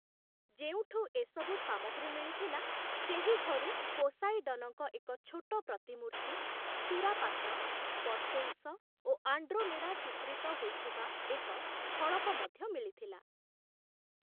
ଯେଉଁଠୁ ଏସବୁ ସାମଗ୍ରୀ ମିଳିଥିଲା, ସେହି ଘରୁ ପୋସାଇଡନଙ୍କ ଏକ ଛୋଟ ପ୍ରତିମୂର୍ତ୍ତି, ସୁରାପାତ୍ର, ପର୍ସେଉସ ଓ ଆଣ୍ଡ୍ରୋମେଡ଼ା ଚିତ୍ରିତ ହୋଇଥିବା ଏକ ଫଳକ ମଧ୍ୟ ମିଳିଥିଲା ।